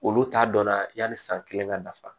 Olu t'a dɔn na yaai san kelen ka nafa